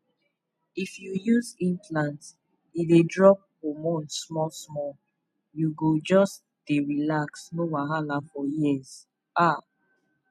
if you use implant e dey drop hormone smallsmall you go just dey relax no wahala for years ah